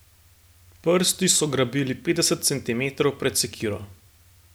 Prsti so grabili petdeset centimetrov pred sekiro.